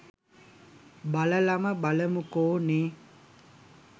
බලලම බලමුකෝ නේ